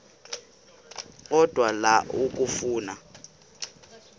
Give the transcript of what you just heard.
odwa la okafuna